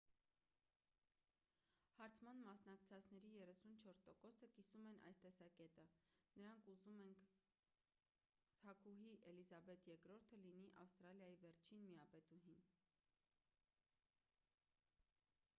հարցման մասնակցածների 34%-ը կիսում են այս տեսակետը. նրանք ուզում ենք՝ թագուհի էլիզաբեթ ii-ը լինի ավստրալիայի վերջին միապետուհին: